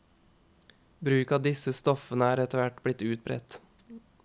Bruk av disse stoffene er etterhvert blitt utbredt.